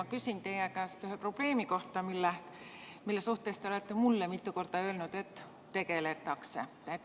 Ma küsin teie käest ühe probleemi kohta, mille suhtes te olete mulle mitu korda öelnud, et sellega tegeletakse.